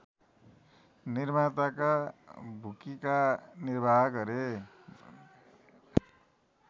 निर्माताका भूकिका निर्वाह गरे